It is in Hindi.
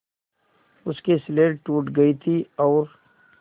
उसकी स्लेट टूट गई थी और